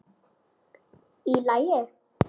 Í lagi?